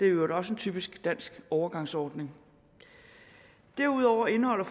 øvrigt også en typisk dansk overgangsordning derudover indeholder